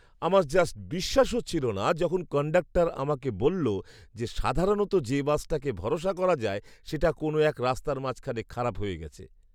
আমার জাস্ট বিশ্বাস হচ্ছিল না যখন কন্ডাক্টর আমাকে বলল যে সাধারণত যে বাসটাকে ভরসা করা যায় সেটা কোন এক রাস্তার মাঝখানে খারাপ হয়ে গেছে!